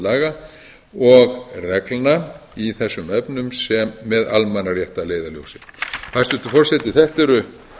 laga og reglna í þessum efnum með almannarétt að leiðarljósi hæstvirtur forseti þetta eru